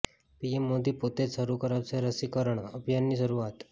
PM Modi પોતે જ શરૂ કરાવશે રસીકરણ અભિયાનની શરૂઆત